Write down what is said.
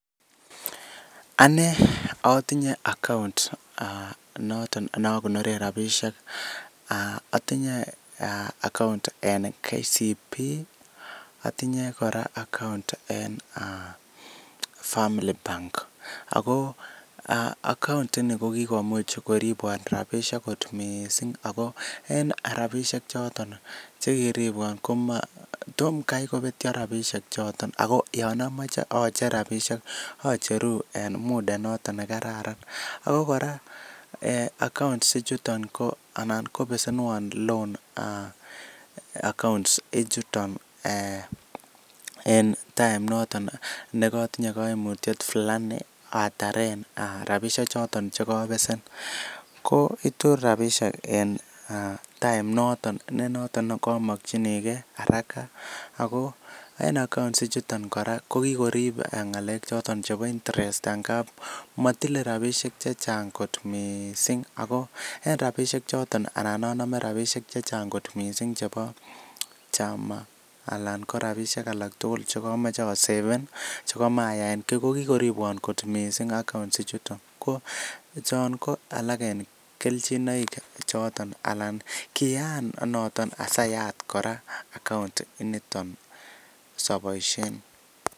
Anne atinye account noton neakonoren rabisiek atinye account en KCB ih, atinye account en family bank Ako ak account ini ko kikomuch koribuan rabinik kot missing ako rabisiek choton ko tom Kai kobetio rabisiek choton Ako acheru en muda nekararan Ako kora account ichuton kobesenuan loan ichuton en time ichuton Yoon katinye kaimutiet Fulani noton chekabesen noton itu rabisiek en time ak ng'alek choton chebo intrest matile rabisiek chechang kot missing ako en rabisiek choton anan anome rabisiek chechang Alan ko siaseven kot missing account ichuton en kelchin